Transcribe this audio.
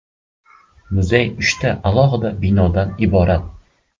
Muzey uchta alohida binodan iborat.